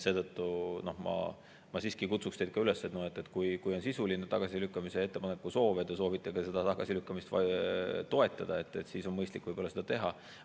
Seetõttu ma siiski kutsuks teid üles, et kui on sisuline tagasilükkamise ettepanek ja te soovite tagasilükkamist ka toetada, siis on mõistlik seda teha.